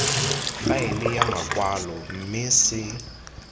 faele ya makwalo mme se